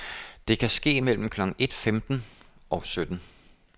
Det kan ske mellem klokken et femten og sytten.